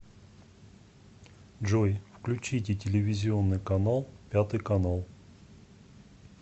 джой включите телевизионный канал пятый канал